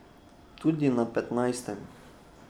Tudi na petnajstem.